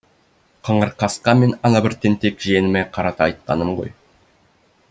қыңыр қасқа мен анабір тентек жиеніме қарата айтқаным ғой